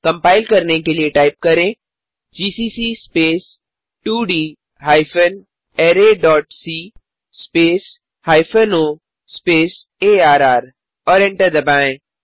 compile करने के लिये टाइप करें जीसीसी स्पेस 2डी hyphen array dot C space hyphen O space arr और एंटर दबाएँ